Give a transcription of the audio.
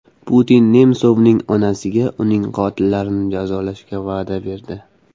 Putin Nemsovning onasiga uning qotillarini jazolashga va’da berdi.